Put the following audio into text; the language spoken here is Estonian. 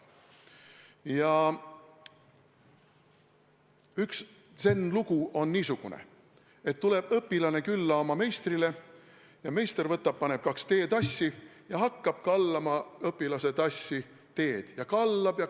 Näiteks, üks zen-lugu räägib, kuidas õpilane tuleb oma meistrile külla, meister võtab kaks teetassi ja hakkab õpilase tassi teed kallama.